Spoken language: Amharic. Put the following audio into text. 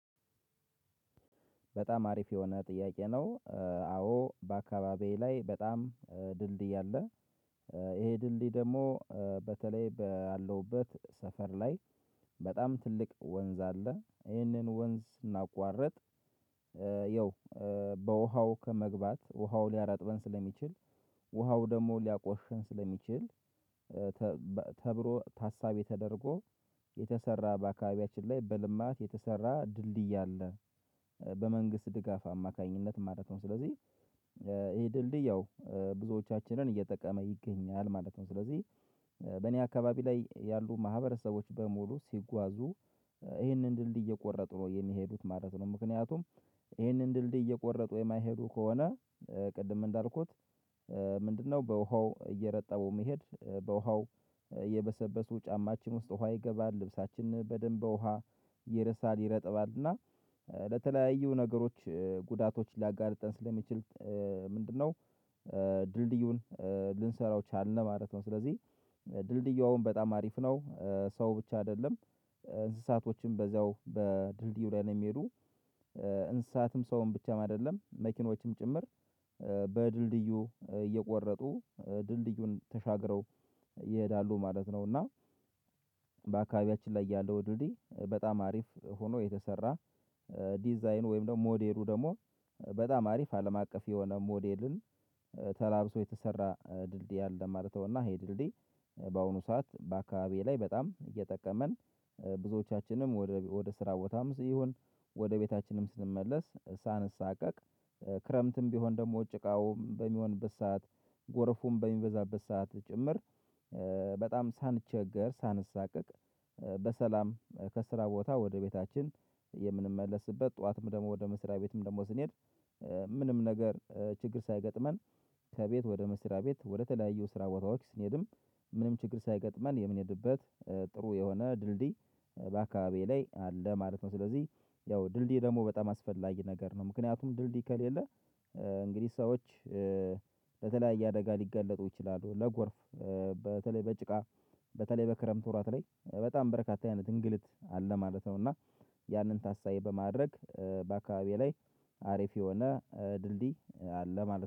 በጣም አሪፍ የሆነ ጥያቄ ነው። አዎ በአካባቢዬ ላይ በጣም ድልድይ አለ። ይሄ ድልድይ ደግሞ በተለይ ባለውበት ሰፈር ላይ። በጣም ትልቅ ወንዝ አለ ይህንን ወንዝ ስናቋርጥ። ያው በውሃው ከመግባት ውሃው ሊያራጥበን ስለሚችል ውሃው ደግሞ ሊያቆሽሽን ስለሚችል። ተብሎ ታሳቢ ተደርጎ የተሰራ በአካባቢያችን ላይ በልማት የተሰራ ድልድይ አለ። በመንግስት ድጋፍ አማካኝነት ማለት ነው። ስለዚህ ይሄ ድልድይ ያው ብዙዎቻችንን እየጠቀመ ይገኛል ማለት ነው። ስለዚህ በእኔ አካባቢ ላይ ያሉ ማህበረሰቦች በሙሉ ሲጓዙ ይህንን ድልድይ እየቆረጡ ነው የሚሄዱት ማለት ነው። ምክንያቱም ይህንን ድልድይ እየቆረጡ የማይሄዱ ከሆነ። ቅድም እንዳልኩት ምንድነው? በውሃው እየረጠበው መሄድ በውሃው እየበሰበሱ ጫማችን ውስጥ ውሃ ይገባል ልብሳችንን በደንብ በውሃ ይረሳል ይረጥባል እና ለተለያዩ ነገሮች ጉዳቶች ሊያጋልጠን ስለሚችል። ምንድነው? ድልድዩን ልንሰራው ቻልን ማለት ነው። ስለዚህ ድልድዩ አሁን በጣም አሪፍ ነው። ሰው ብቻ አይደለም እንስሳቶችም በዛው በድልድይ ላይ ነው የሚሄዱ። እንስሳትም ሰውም ብቻም አይደለም መኪኖችም ጭምር በድልድዩ እየቆረጡ ድልድዩን ተሻግረው ይሄዳሉ ማለት ነው። እና በአካባቢያችን ላይ ያለው ድልድይ በጣም አሪፍ ሆኖ የተሰራ። ዲዛይኑ ወይም ደግሞ ሞዴሉ ደግሞ በጣም አሪፍ አለም አቀፍ የሆነ ሞዴልን። ተላብሶ የተሰራ ድልድይ አለ ማለት ነው። እና ይሄ ድልድይ በአሁኑ ሰዓት በአካባቢዬ ላይ በጣም እየጠቀመን ብዙዎቻችንም ወደ ስራ ቦታም ሲሆን ወደ ቤታችንም ስንመለስ ሳንሳቀቅ ክረምትም ቢሆን ደግሞ ጭቃው በሚሆንበት ሰዓት ጎረፉም በሚበዛበት ሰዓት ጭምር። በጣም ሳንቸገር ሳንሰቃቅ በሰላም ከስራ ቦታ ወደ ቤታችን የምንመለስበት ጠዋትም ደግሞ ወደ መስሪያ ቤትም ደግሞ ስንሄድ። ምንም ነገር ችግር ሳይገጥመን ከቤት ወደ መስሪያ ቤት ወደተለያዩ ስራ ቦታ ወክ ስንሄድም ምንም ችግር ሳይገጥመን የምንሄድበት። ጥሩ የሆነ ድልድይ በአካባቢዬ ላይ አለ ማለት ነው። ስለዚህ ያው ድልድይ ደግሞ በጣም አስፈላጊ ነገር ነው። ምክንያቱም ድልድይ ከሌለ። እንግዲህ ሰዎች በተለያየ አደጋ ሊጋለጡ ይችላሉ። ለጎርፍ በተለይ በጭቃ በተለይ በክረምት ወራት ላይ በጣም በረካታ አይነት እንግልት አለ ማለት ነው። እና ያንን ታሳቢ በማድረግ በአካባቢዬ ላይ አሪፍ የሆነ ድልድይ አለ ማለት ነው